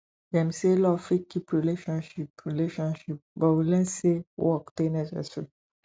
dem say love fit keep relationship relationship but we learn sey work dey necessary